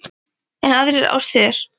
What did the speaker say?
En aðrar árstíðir?